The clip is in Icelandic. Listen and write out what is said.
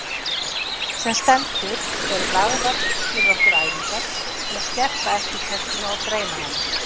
Sem stendur eru lagðar fyrir okkur æfingar til að skerpa eftirtektina og greina hana.